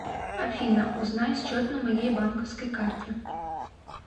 афина узнай счет на моей банковской карте